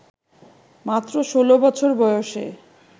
মাত্র ষোলো বছর বয়সে